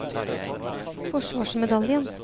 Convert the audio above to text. forsvarsmedaljen